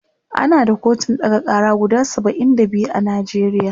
ana da kotun ɗaga Kara guda saba'in da biyu a Najeriya